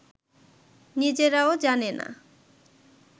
নিজেরাও জানে না